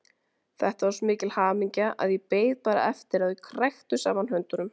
Þetta var svo mikil hamingja að ég beið bara eftir að þau kræktu saman höndunum.